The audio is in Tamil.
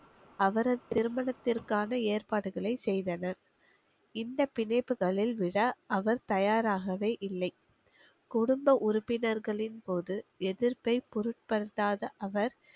அவரது திருமணத்திற்கான ஏற்பாடுகளை செய்தனர் இந்த பிணைப்புகளில் விட அவர் தயாராகவே இல்லை குடும்ப உறுப்பினர்களின் போது எதிர்ப்பை பொருட்படுத்தாத அவர்